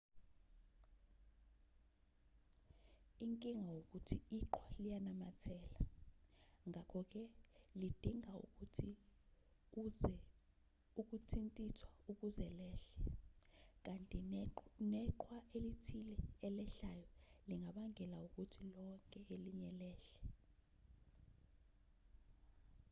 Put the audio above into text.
inkinga ukuthi iqhwa liyanamathela ngakho-ke lidinga ukuthi ukuthintithwa ukuze lehle kanti neqhwa elithile elehlayo lingabangela ukuthi lonke elinye lehle